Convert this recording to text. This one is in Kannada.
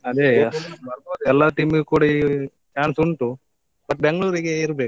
ಅದೇಯಾ. ಬರ್ಬೊದು ಎಲ್ಲ team ಗ್ ಕೂಡ chance ಉಂಟು, but Bengaluru ರಿಗೆ ಇರ್ಬೇಕು.